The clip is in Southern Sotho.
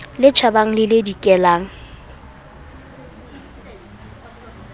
le tjhabang le le dikelang